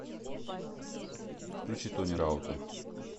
включи тони раута